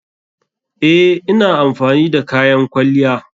Eh, ina amfani da kayan kwalliya.